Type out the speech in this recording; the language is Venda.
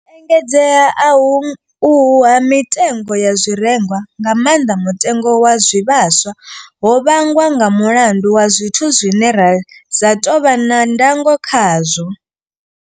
U engedzea ahu uhu ha mitengo ya zwirengwa, nga maanḓa mutengo wa zwivhaswa, ho vhangwa nga mulandu wa zwithu zwine ra sa tou vha na ndango khazwo.